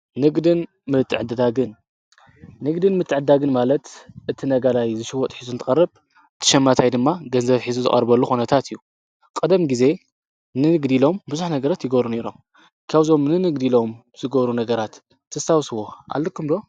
ንንንግድን ምትዕዳግን ማለት እቲ ነጋላይ ዝሽወጥ ኂዙን ቐርብ ትሸማታይ ድማ ገንዘፍ ኂዙ ዝቐርበሉ ኾነታት እዩ ።ቕደም ጊዜ ንንግዲ ሎም ብዙኅ ነገረት ይጐሩ ነይሮም ካውዞም ንንግዲ ኢሎም ዝጐሩ ነገራት ተሳውስዎ ኣለኩምዶ?